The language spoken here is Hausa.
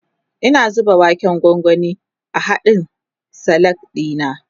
Ina zuba waken gwangwani a hadkn Salak dina